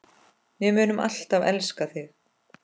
Við munum alltaf elska þig.